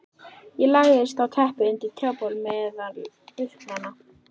Ég lagðist á teppið undir trjábol meðal burknanna.